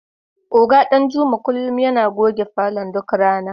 Oga Danjuma kullum yana goge falon duk rana.